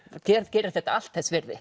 gerir þetta allt þess virði